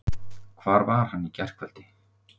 Hvar var hann í gærkvöld?